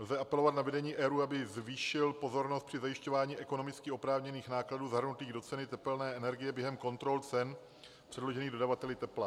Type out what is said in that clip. Lze apelovat na vedení ERÚ, aby zvýšil pozornost při zajišťování ekonomicky oprávněných nákladů zahrnutých do ceny tepelné energie během kontrol cen předložených dodavateli tepla.